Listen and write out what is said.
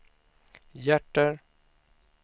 hjärter